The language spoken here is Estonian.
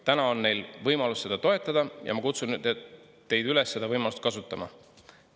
Täna on meil võimalus seda toetada ja ma kutsun teid üles seda võimalust kasutama.